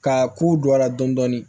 Ka kow don a la dɔn dɔɔnin